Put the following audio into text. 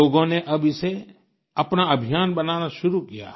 लोगों ने अब इसे अपना अभियान बनाना शुरू किया है